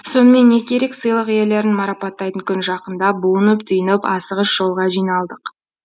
сонымен не керек сыйлық иелерін марапаттайтын күн жақындап буынып түйініп асығыс жолға жиналдық